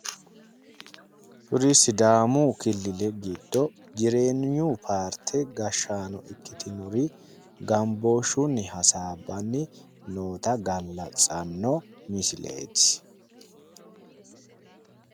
Kuri sidaamu killile giddo jireenyu paarte gashshaano ikkitinori gambooshshunni hasaabbanni noota gallatsanno misileeti.